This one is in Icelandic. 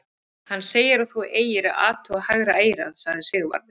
Hann segir að þú eigir að athuga hægra eyrað, sagði Sigvarður.